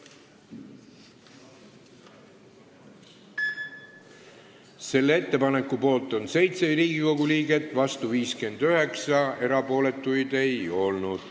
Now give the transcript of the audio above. Hääletustulemused Selle ettepaneku poolt on 7 Riigikogu liiget, vastu 59, erapooletuid ei olnud.